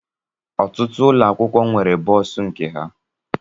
Ọtụtụ ụlọ akwụkwọ nwere bọs nke ha